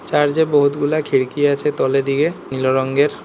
Church এ বহুতগুলা খিড়কি আছে তলে দিকে নীলো রঙ্গের।